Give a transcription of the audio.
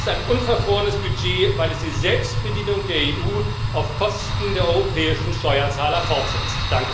Und es ist eine unverfrorenes Budget, weil es die Selbstbedienung der EU auf Kosten der europäischen Steuerzahler fortsetzt.